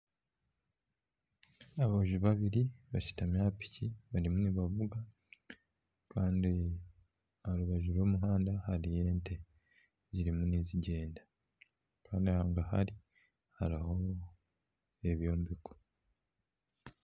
Aboojo babiri bashutamire ahari piki bariyo nibavuga kandi aha rubaju rw'omuhanda hariyo ente zirimu nizigyenda kandi hangahari hariyo ebyombeko